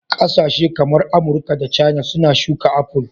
Kasashe kamar Amurka da Caina suna shuka apple